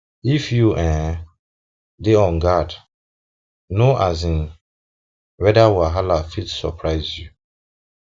if you um dey on guard no um weada wahala fit surprise you um